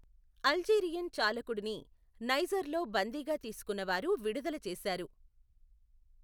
Algerian చాలకుడుని నైజర్లో బందీగా తీసుకున్నవారు విడుదల చేశారు.